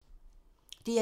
DR1